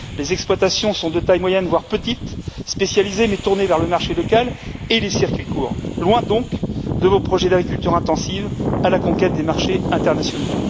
Les exploitations sont de taille moyenne voire petite, spécialisées mais tournées vers le marché local et les circuits courts, loin donc de vos projets d'agriculture intensive à la conquête des marchés internationaux.